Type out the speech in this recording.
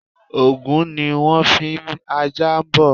Ògún ni wón n fi ajá bọ